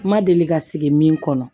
N ma deli ka sigi min kɔnɔ